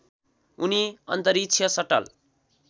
उनी अन्तरिक्ष सटल